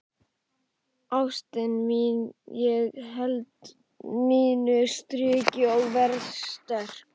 Ástin mín, ég held mínu striki og verð sterk.